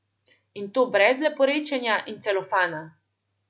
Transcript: In to brez leporečja in celofana!